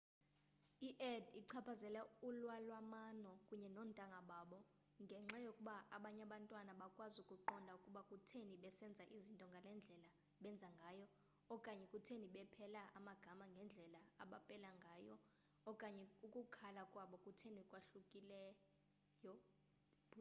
i-add ichaphazela ulwalamano kunye noontanga babo ngenxa yokuba abanye abantwana abakwazi ukuqonda ukuba kutheni besenza izinto ngale ndlela benza ngayo okanye kutheni bepela amagama ngendlela abapela ngayo okanye ukukhula kwabo kutheni kwahlukile